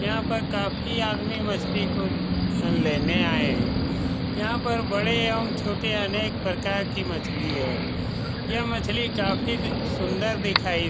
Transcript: यहाँ पर काफी आदमी मछली को ख-लेने आये है यहाँ पर बड़े एवम छोटे अनेक प्रकार के मछली है यह मछली काफी सुन्दर दिखाई --